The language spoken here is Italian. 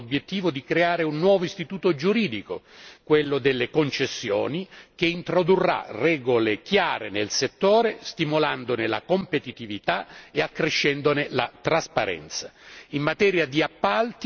È stato raggiunto l'obiettivo di creare un nuovo istituto giuridico, quelle delle concessioni, che introdurrà regole chiare nel settore, stimolandone la competitività e accrescendone la trasparenza.